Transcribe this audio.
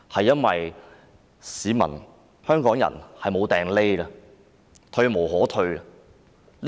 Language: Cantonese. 因為市民、香港人已無處可逃，退無可退。